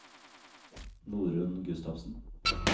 Norunn Gustavsen